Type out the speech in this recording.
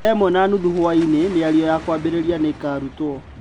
19:30 Mĩario ya kwambĩrĩria nĩ ĩkaarutwo.